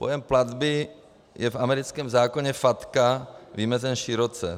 Pojem platby je v americkém zákoně FATCA vymezen široce.